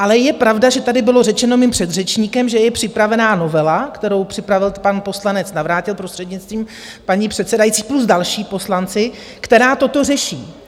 Ale je pravda, že tady bylo řečeno mým předřečníkem, že je připravená novela, kterou připravil pan poslanec Navrátil, prostřednictvím paní předsedající, plus další poslanci, která toto řeší.